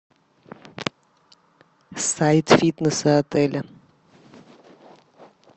сайт фитнеса отеля